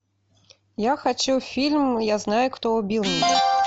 я хочу фильм я знаю кто убил меня